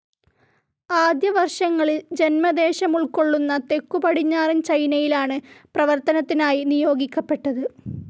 ആദ്യ വർഷങ്ങളിൽ ജന്മദേശമുൾക്കൊള്ളുന്ന തെക്കു പടിഞ്ഞാറൻ ചൈനയിലാണ് പ്രവർത്തനത്തിനായി നിയോഗിക്കപ്പെട്ടത്.